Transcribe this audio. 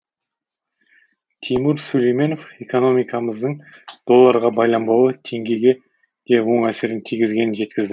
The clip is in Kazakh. тимур сүлейменов экономикамыздың долларға байланбауы теңгеге де оң әсерін тигізгенін жеткізді